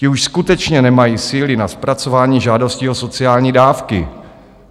Ti už skutečně nemají síly na zpracování žádostí o sociální dávky.